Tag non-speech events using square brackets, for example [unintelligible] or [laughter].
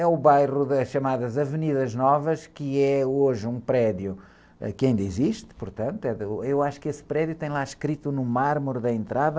É o bairro das chamadas, [unintelligible] que é hoje um prédio, ãh, que ainda existe, portanto, eh, ôh, eu acho que esse prédio tem lá escrito no mármore da entrada...